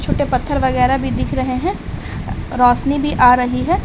छोटे पत्थर वगैरा भी दिख रहे है रोशनी भी आ रही है।